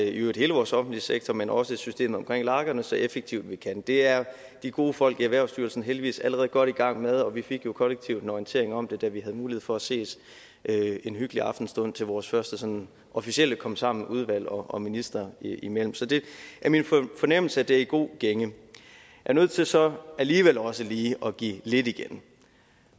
hele vores offentlige sektor men også systemet omkring lagerne så effektivt vi kan det er de gode folk i erhvervsstyrelsen heldigvis allerede godt i gang med og vi fik jo kollektivt en orientering om det da vi havde mulighed for at ses en hyggelig aftenstund til vores første sådan officielle komsammen udvalg og minister imellem så det er min fornemmelse at det er i god gænge jeg er nødt til så alligevel også lige at give lidt igen